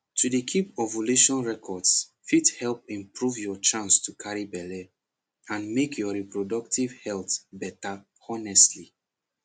to dey keep ovulation records fit help improve your chance to carry belle and make your reproductive health better honestly